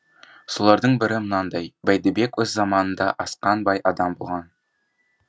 солардың бірі мынадай бәйдібек өз заманында асқан бай адам болған